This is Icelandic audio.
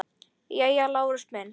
Jæja, Lárus minn.